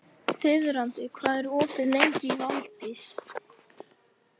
Þiðrandi, hvað er opið lengi í Valdís?